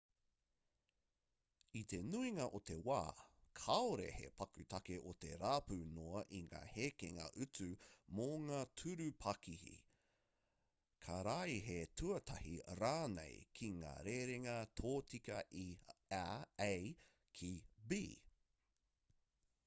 i te nuinga o te wā kāore he paku take o te rapu noa i ngā hekenga utu mō ngā tūru pakihi karaehe-tuatahi rānei ki ngā rerenga tōtika i a ki b